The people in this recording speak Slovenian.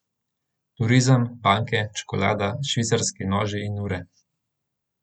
Turizem, banke, čokolada, švicarski noži in ure ...